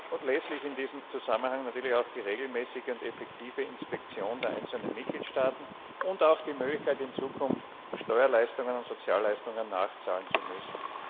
Unerlässlich in diesem Zusammenhang sind natürlich auch die regelmäßige und effektive Inspektion der einzelnen Mitgliedstaaten sowie die Möglichkeit, in Zukunft Steuerleistungen und Sozialleistungen nachzahlen zu müssen.